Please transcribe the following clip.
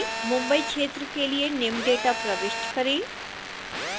mumbai क्षेत्र के लिए निम्न data प्रविष्ट करें